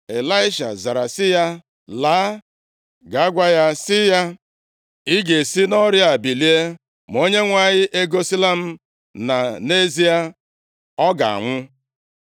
Ịlaisha zara sị ya, “Laa, gaa gwa ya sị ya, ‘Ị ga-esi nʼọrịa bilie.’ Ma Onyenwe anyị egosila m na, nʼezie, ọ ga-anwụ.”